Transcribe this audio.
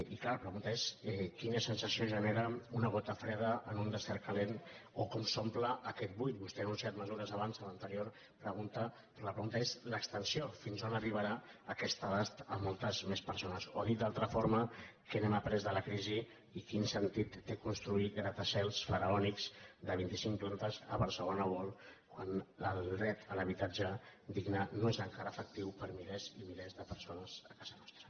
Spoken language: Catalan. i clar la pregunta és quina sensació gene·ra una gota freda en un desert calent o com s’omple aquest buit vostè ha anunciat mesures abans en l’an·terior pregunta però la pregunta és l’extensió fins a on arribarà aquest abast a moltes més persones o dit d’una altra forma què hem après de la crisi i quin sen·tit té construir gratacels faraònics de vint·i·cinc plan·tes a barcelona world quan el dret a l’habitatge digne no és encara efectiu per a milers i milers de persones a casa nostra